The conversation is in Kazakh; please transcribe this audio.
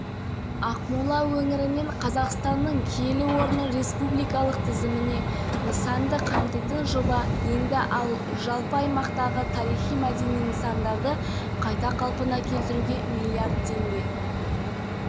қатар білім мәдениет саласында да көптеген іс-шаралар қарастырылуда рухани жаңғыру бағдарламасына ақмола облысы үлкен үлес